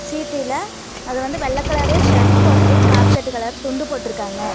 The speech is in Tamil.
அது வந்து வெள்ள கலரு ஷர்ட் போட்டு காப்பிகட்டு கலர் துண்டு போட்ருக்காங்க.